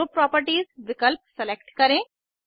group properties विकल्प select करें